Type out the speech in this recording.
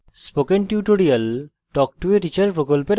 spoken tutorial talk to a teacher প্রকল্পের অংশবিশেষ